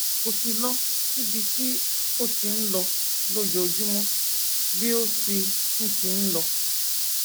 kò sì lọ síbi tí ó ti ń lọ lójoojúmọ bí ó ti ń ti ń lọ